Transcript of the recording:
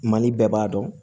Mali bɛɛ b'a dɔn